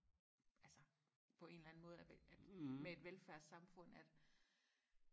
altså på en eller anden måde at med et velfærdssamfund at